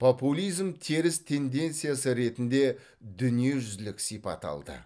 популизм теріс тенденциясы ретінде дүниежүзілік сипат алды